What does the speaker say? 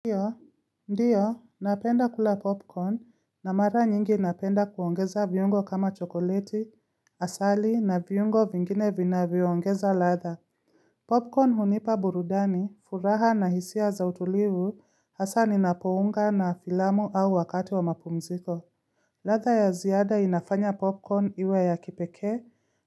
Ndiyo, ndiyo, napenda kula popcorn na mara nyingi napenda kuongeza viungo kama chokoleti, asali na viungo vingine vina vivyoongeza latha. Popcorn hunipa burudani furaha na hisia za utulivu hasa ninapounga na filamu au wakati wa mapumziko. Ladha ya ziada inafanya popcorn iwe ya kipekee